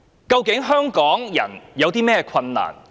究竟香港人正面對甚麼困難呢？